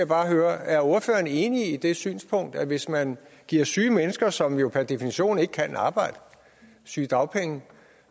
bare høre er ordføreren enig i det synspunkt at hvis man giver syge mennesker som jo per definition ikke kan arbejde sygedagpenge